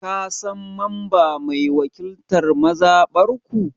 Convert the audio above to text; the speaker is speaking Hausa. Ka San mamba mai wakiltan mazabar ku?